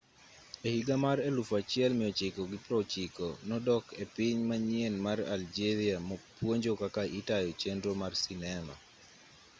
ehiga mar 1960 nodok epiny manyien mar algeria puonjo kaka itayo chenro mar sinema